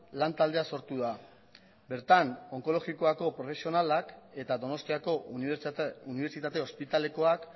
lan taldea sortu da bertan onkologikoako profesionalak eta donostiako unibertsitate ospitalekoak